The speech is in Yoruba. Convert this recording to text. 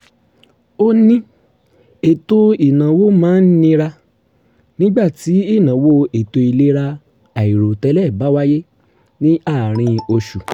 ó ní ètò ìnáwó máa ń nira nígbà tí ̀ìnáwó ètò ìlera àìròtẹ́lẹ̀ bá wáyé ní àárín oṣù